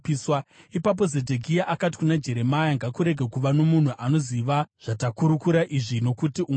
Ipapo Zedhekia akati kuna Jeremia, “Ngakurege kuva nomunhu anoziva zvatakurukura izvi nokuti ungafa.